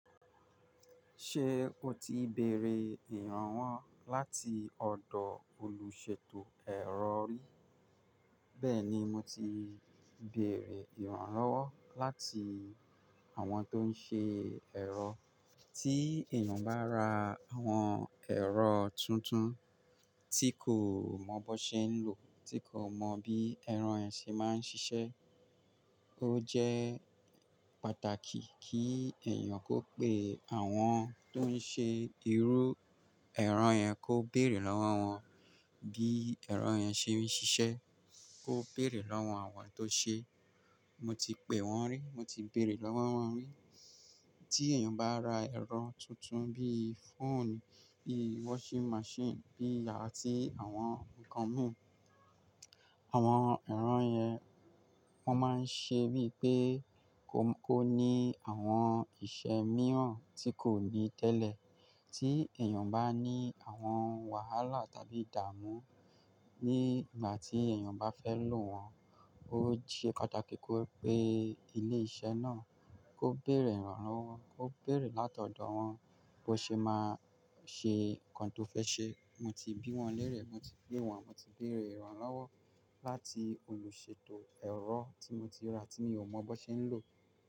Ṣé o ti bèrè ìrànwọ́ láti ọ̀dọ̀ olùṣètò ẹ̀rọ rí? Bẹ́ẹ̀ ni, mo ti bèrè ìrànwọ́ láti àwọn tó ń ṣe ẹ̀rọ. Tí èèyàn bá ra àwọn ẹ̀rọ tuntun tí kò mọ bó ṣe ń lò, tí kò mọ bí ẹ̀rọ yẹn ṣe máa ń ṣiṣẹ́, ó jẹ́ pàtàkì kí èèyàn kó pe àwọn tó ń ṣe irú ẹ̀rọ yẹn kó bèrè lọ́wọ́ wọn bí ẹ̀rọ yẹn ṣe ń ṣiṣẹ́. Kó bèrè lọ́wọ́ àwọn tó ṣe é. Mo ti pè wọ́n rí, mo ti bèrè lọ́wọ́ wọ́n rí. Tí èèyàn bá ra ẹ̀rọ tuntun bí i fóònù, bí i washing machine, bí i àti àwọn nǹkan mìíràn, àwọn ẹ̀rọ yẹn wọ́n máa ń ṣe bíi pé kó ní àwọn iṣẹ́ mìíràn tí kò ní tẹ́lẹ̀. Tí èèyàn bá ní àwọn wàhálà tàbí ìdààmú ní ìgbà tí èèyàn bá fẹ́ lò wọ́n, ó jẹ́ pàtàkì kó pe ilé iṣẹ́ náà, kó bèrè ìrànlọ́wọ́, kó bèrè láti ọ̀dọ̀ wọ́n bó ṣe máa ṣe nǹkan tó fẹ́ ṣe. Mo ti bí wọ́n lérè, mo ti pè wọ́n, mo ti bèrè ìrànlọ́wọ́ láti olùṣètò ẹ̀rọ tí mo ti ra tí mi ò mọ bó ṣe ń lò.